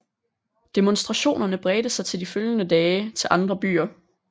Demonstrationerne bredte sig de følgende dage til andre byer